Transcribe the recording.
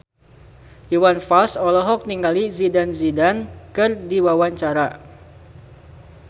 Iwan Fals olohok ningali Zidane Zidane keur diwawancara